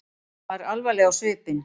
Hún var alvarleg á svipinn.